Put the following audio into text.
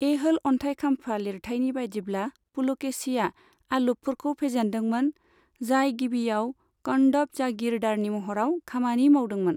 ऐहोल अन्थाइखाम्फा लिरथाइनि बादिब्ला पुलकेशीया अलुपफोरखौ फेजेन्दोंमोन, जाय गिबियाव कदंब जागीरदारनि महराव खामानि मावदोंमोन।